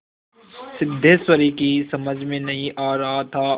सिद्धेश्वरी की समझ में नहीं आ रहा था